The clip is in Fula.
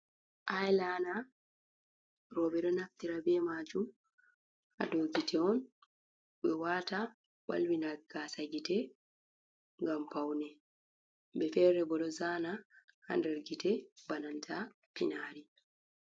Ailana roɓɓe rftir be maju hadogite on be wata walwi nagasa gite gam paune be fere bodo zana h00 gite bananta finari.